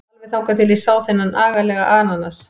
Alveg þangað til ég sá þennan agalega ananas.